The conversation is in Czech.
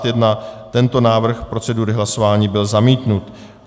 Tento návrh procedury hlasování byl zamítnut.